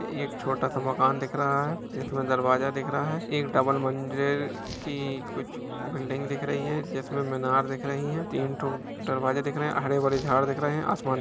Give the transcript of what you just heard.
एक छोटा सा मकान दिख रहा है जिसमें दरवाजा दिख रहा है एक डबल मंजिल की कुछ बिल्डिंग दिख रही है जिस में मीनार दिख रहीं है तीन ठो दरवाजे दिख रहें हैं हरे-भरे झाड़ दिख रहें हैं आसमान --